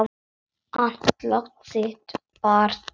Andlát þitt bar brátt að.